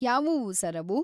ಯಾವುವು ಸರ್ ಅವು?